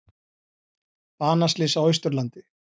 Banaslys á Austurlandi